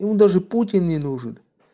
ему даже путин не нужен